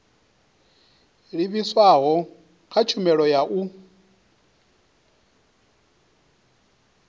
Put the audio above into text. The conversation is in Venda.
livhiswaho kha tshumelo ya u